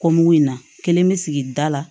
in na kelen bɛ sigi da la